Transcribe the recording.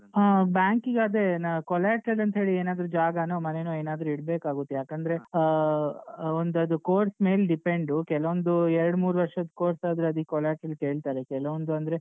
ಹಾ bank ಕಿಗೆ ಅದೇ ನಾವು collateral ಅಂತೇಳಿ ಏನಾದ್ರು ಜಾಗನೋ ಮನೆನೋ ಏನಾದ್ರು ಇಡ್ಬೇಕಾಗುತ್ತೆ ಯಾಕಂದ್ರೆ ಆ ಒಂದ್ ಅದು course ಮೇಲ್ depend ಕೆಲವೊಂದು ಎರಡಮೂರ್ ವರ್ಷದ್ course ಆದ್ರೆ ಅದಿಕ್ collateral ಕೇಳ್ತಾರೆ ಕೆಲವೊಂದು ಅಂದ್ರೆ ಈಗ.